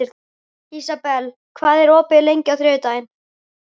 Ísabel, hvað er opið lengi á þriðjudaginn?